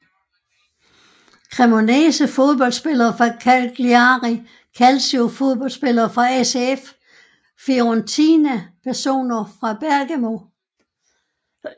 Cremonese Fodboldspillere fra Cagliari Calcio Fodboldspillere fra ACF Fiorentina Personer fra Bergamo